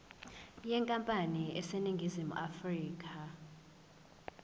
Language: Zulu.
yenkampani eseningizimu afrika